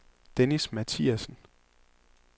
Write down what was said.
Dennis Mathiassen